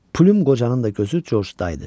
Pqocanın da gözü Coçda idi.